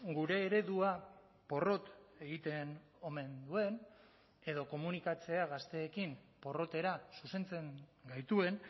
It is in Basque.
gure eredua porrot egiten omen duen edo komunikatzea gazteekin porrotera zuzentzen gaituen